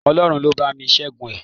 Ọlọ́run ló bá mi Ṣẹ́gun ẹ̀